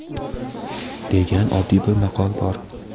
degan oddiy bir maqol bor.